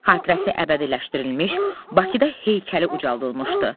Xatirəsi əbədiləşdirilmiş, Bakıda heykəli ucaldılmışdı.